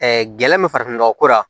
gɛlɛn min farafinnɔgɔ ko la